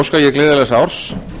óska ég gleðilegs árs